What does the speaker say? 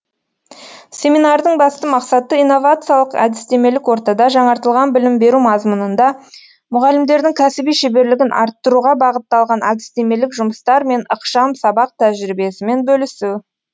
семинардың басты мақсаты инновациялық әдістемелік ортада жаңартылған білім беру мазмұнында мұғалімдердің кәсіби шеберлігін арттыруға бағытталған әдістемелік жұмыстар мен ықшам сабақ тәжірибесімен бөлісу